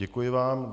Děkuji vám.